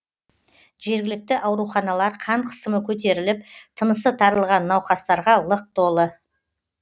жергілікті ауруханалар қан қысымы көтеріліп тынысы тарылған науқастарға лық толы